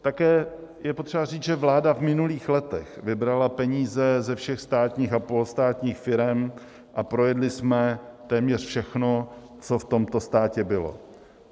Také je potřeba říct, že vláda v minulých letech vybrala peníze ze všech státních a polostátních firem a projedli jsme téměř všechno, co v tomto státě bylo.